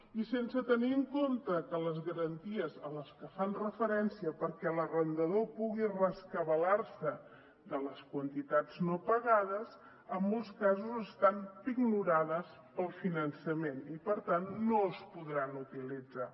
i sense tenir en compte que les garanties a les que fan referència perquè l’arrendador pugui rescabalar se de les quantitats no pagades en molts casos estan pignorades pel finançament i per tant no es podran utilitzar